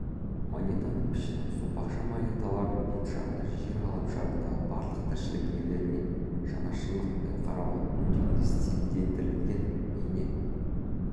монетаның пішіні сопақша монеталардың бет жағында жер ғаламшарындағы барлық тіршілік иелеріне жанашырлықпен қарауға үндейтін стильдендірілген бейне